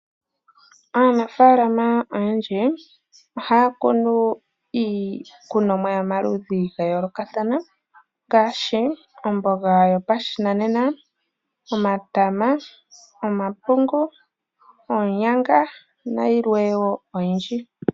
Aanafalama oyendji ohaya kunu iikunomwa yomaludhi ga yoolokathana ngaashi omboga yopashinanena, omatama, omapungu, oonyanga nayilwe wo oyindji.